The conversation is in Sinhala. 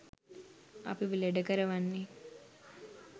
අපිව ලෙඩ කරවන්නේ.